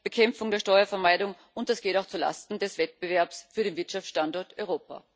Bekämpfung der Steuervermeidung, und das geht auch zu Lasten des Wettbewerbs für den Wirtschaftsstandort Europa.